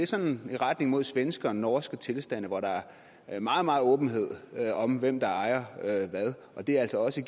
sådan i retning mod svenske og norske tilstande hvor der er er meget meget åbenhed om hvem der ejer hvad og det giver altså også